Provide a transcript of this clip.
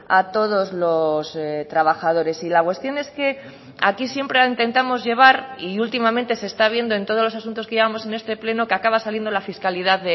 a todos los trabajadores y la cuestión es que aquí siempre intentamos llevar y últimamente se está viendo en todos los asuntos que llevamos en este pleno que acaba saliendo la fiscalidad